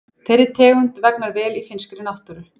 Þeirri tegund vegnar vel í finnskri náttúru.